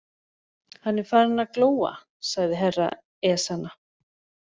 Hann er farinn að glóa, sagði Herra Ezana.